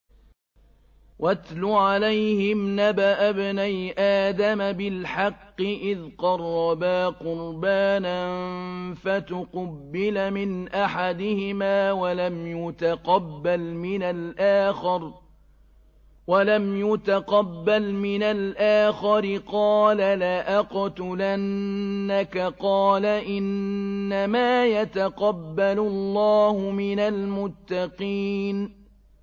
۞ وَاتْلُ عَلَيْهِمْ نَبَأَ ابْنَيْ آدَمَ بِالْحَقِّ إِذْ قَرَّبَا قُرْبَانًا فَتُقُبِّلَ مِنْ أَحَدِهِمَا وَلَمْ يُتَقَبَّلْ مِنَ الْآخَرِ قَالَ لَأَقْتُلَنَّكَ ۖ قَالَ إِنَّمَا يَتَقَبَّلُ اللَّهُ مِنَ الْمُتَّقِينَ